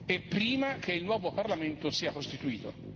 e prima che il nuovo Parlamento sia costituito.